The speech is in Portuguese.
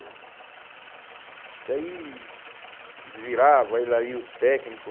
E aí virava ele aí, o técnico.